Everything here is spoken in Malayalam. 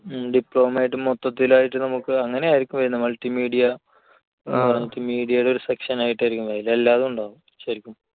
ഉം diploma ആയിട്ട് മൊത്തത്തിലായിട്ട് നമുക്ക് അങ്ങനെയായിരിക്കും വരുന്നത് multimedia multimedia യുടെ ഒരു section ആയിട്ടായിരിക്കും വരുന്നത്. എല്ലാതും ഉണ്ടാകും.